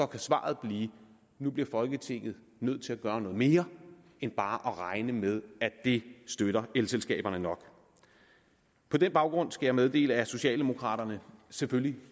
kan svaret blive at nu bliver folketinget nødt til at gøre noget mere end bare at regne med at det støtter elselskaberne nok på den baggrund skal jeg meddele at socialdemokraterne selvfølgelig